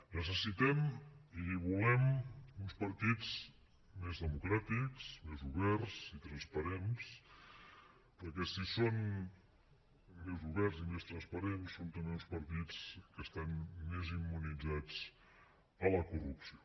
necessitem i volem uns partits més democràtics més oberts i transparents perquè si són més oberts i més transparents són també uns partits que estan més immunitzats contra la corrupció